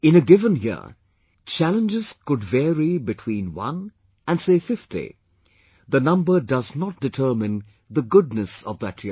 In a given year, challenges could vary between one and say, fifty; the number does not determine the goodness of that year